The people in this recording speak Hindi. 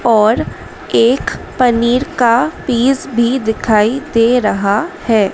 और एक पनीर का पीस भी दिखाई दे रहा है।